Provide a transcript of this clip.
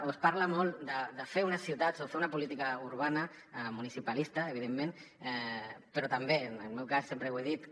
o es parla molt de fer unes ciutats o fer una política urbana municipalista evidentment però també en el meu cas sempre ho he dit